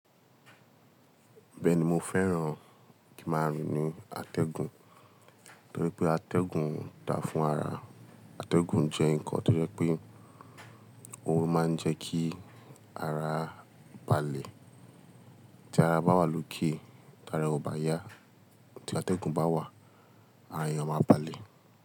Bẹ́ẹ̀ni mo fẹ́ran kí màá rìn ní atẹ́gùn. Torí pé atẹ́gùn dà fún ara, atẹ́gùn jẹ́ nǹkan tó jẹ́ pé ó máa ń jẹ́ kí ara balẹ̀. Tí ara bá wà lókè, tara ọ ba yá, tí atẹ́gùn bá wà, ara èèyàn máa balẹ̀.